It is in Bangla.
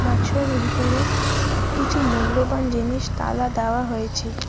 বাক্সর ভিতরে কিছু মূল্যবান জিনিস তালা দেওয়া হয়েছে।